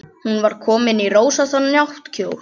Hún var komin í rósóttan náttkjól.